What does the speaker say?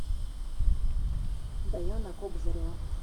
даяна кобзарева